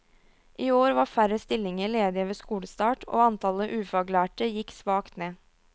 I år var færre stillinger ledige ved skolestart, og antallet ufaglærte gikk svakt ned.